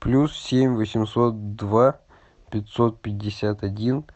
плюс семь восемьсот два пятьсот пятьдесят один